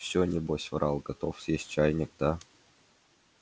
всё небось врал готов съесть чайник да